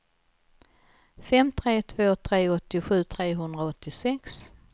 fem tre två tre åttiosju trehundraåttiosex